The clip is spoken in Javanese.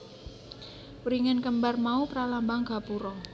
Wringin kembar mau pralambang gapura